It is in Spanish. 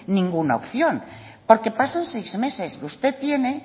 ninguna opción porque pasan seis meses que usted tiene